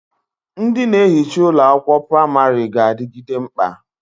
Ndị na ehicha ụlọ akwụkwọ pramarị ga-adịgide mkpa